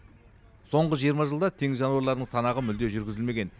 соңғы жиырма жылда теңіз жануарларының санағы мүлде жүргізілмеген